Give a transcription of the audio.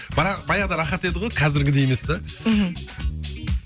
баяғыда рахат еді ғой қазіргідей емес те мхм